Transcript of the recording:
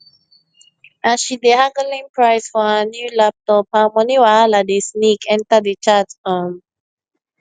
as she dey haggling price for her new laptop her money wahala dey sneak enter di chat um